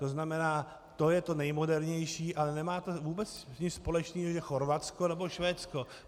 To znamená, to je to nejmodernější, ale nemá to vůbec nic společného, že Chorvatsko nebo Švédsko.